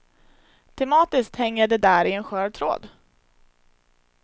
Tematiskt hänger de där i en skör tråd.